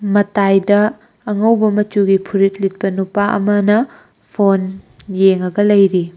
ꯃꯇꯥꯏꯗ ꯑꯉꯧꯕ ꯃꯆꯨꯒꯤ ꯐꯨꯔꯤꯠ ꯂꯤꯠꯄ ꯅꯨꯄꯥ ꯑꯃꯅ ꯐꯣꯟ ꯌꯦꯡꯉꯒ ꯂꯩꯔꯤ꯫